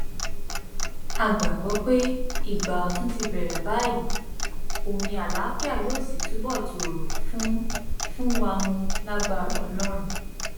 a gbàgbọ pé ìgbà ọtún ti bẹrẹ báyìí omi àlàáfíà yóò sì túbọ tòrò fún fún wa mú lágbára ọlọrun